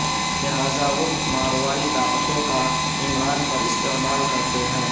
لہذا وہ ماروائی طاقتوں کا عمران پر استعمال کرتے ہیں